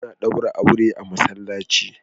Ana ɗaura aure a masallaci.